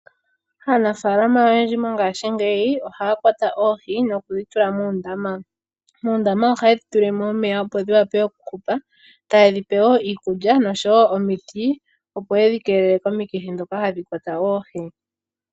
Aanafaalama oyendji mongashingeyi ohaya kwata oohi nokudhi tula muundama. Muundama ohaye dhi tulile mo omeya, opo dhi wape okuhupa, taye dhi pe wo iikulya oshowo omiti, opo ye dhi keelele komikithi ndhoka hadhi kwata oohi.